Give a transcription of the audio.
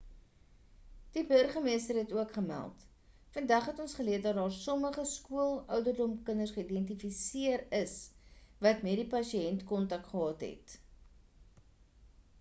die burgmeester het ook gemeld vandag het ons geleer dat daar sommige skool-ouderdom kinders geïdentifiseer is wat met die pasiënt kontak gehad het